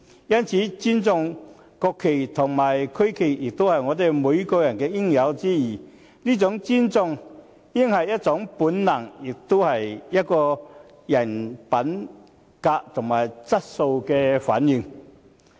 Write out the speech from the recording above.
因此，尊重國旗和區旗也是我們每個人的應有之義，這種尊重應是一種本能，也是一個人品德和質素的反映。